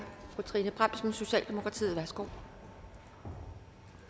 fru trine bramsen socialdemokratiet værsgo